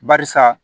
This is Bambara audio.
Barisa